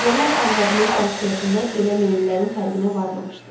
Əvvəllər arvadımın xasiyyətində belə meyllərin fərqinə varmamışdım.